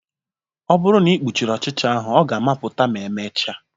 Ọ bụrụ na ị kpuchiri ọchịcha ahụ ọ ga-amụpụta ma emechaa